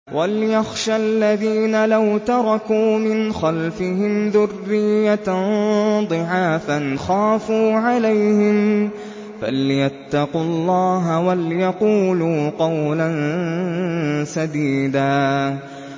وَلْيَخْشَ الَّذِينَ لَوْ تَرَكُوا مِنْ خَلْفِهِمْ ذُرِّيَّةً ضِعَافًا خَافُوا عَلَيْهِمْ فَلْيَتَّقُوا اللَّهَ وَلْيَقُولُوا قَوْلًا سَدِيدًا